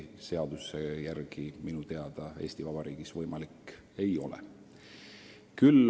Seaduse järgi see Eesti Vabariigis võimalik ei ole.